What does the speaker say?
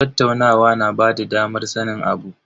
Tattaunawa na bada damar sanin abu.